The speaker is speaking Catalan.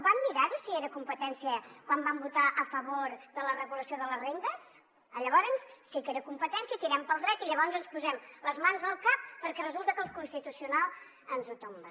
van mirarho si era competència quan vam votar a favor de la regulació de les rendes llavors sí que era competència tirem pel dret i llavors ens posem les mans al cap perquè resulta que el constitucional ens ho tomba